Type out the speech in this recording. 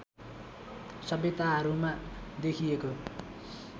सभ्यताहरूमा देखिएको